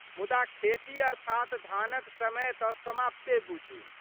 मुदा खेती अर्थात धानक समय तऽ समाप्ते बुझू।